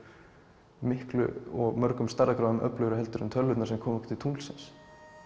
miklu og mörgum stærðargráðum öflugri en tölvurnar sem komu okkur til tunglsins